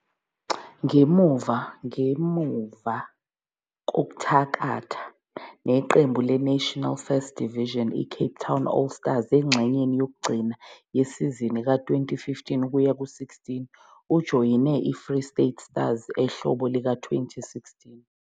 Ngemuva kokuthakatha neqembu leNational First Division iCape Town All Stars engxenyeni yokugcina yesizini ka-2015-16, ujoyine iFree State Stars ehlobo lika-2016.